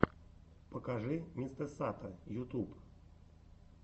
покажи мистэсато ютюб